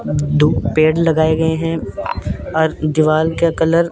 दो पेड़ लगाए गए हैं और दीवाल का कलर --